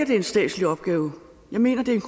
det er en statslig opgave jeg mener at det er en